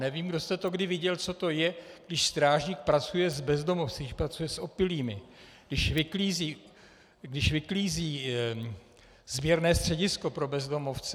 Nevím, kdo jste to kdy viděl, co to je, když strážník pracuje s bezdomovci, když pracuje s opilými, když vyklízí sběrné středisko pro bezdomovce.